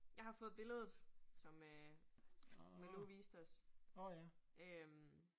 Jeg har fået billedet som øh Malou viste os øh